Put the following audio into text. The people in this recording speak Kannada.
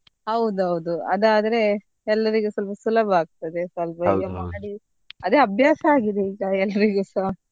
ಹೌದೌದು ಅದ್ ಆದ್ರೆ ಎಲ್ಲರಿಗೂ ಸ್ವಲ್ಪ ಸುಲಭ ಆಗ್ತದೆ ಮಾಡಿ ಅದೇ ಅಭ್ಯಾಸ ಆಗಿದೆ ಈಗ ಎಲ್ರಿಗುಸ.